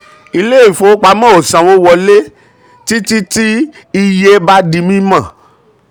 ilé ìfowopamọ́ ò ò sanwó wọlé títí tí iye bá di mímọ̀.